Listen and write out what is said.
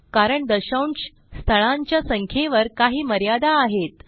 कारण दशांश स्थळांच्या संख्येवर काही मर्यादा आहेत